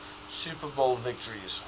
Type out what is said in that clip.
super bowl victories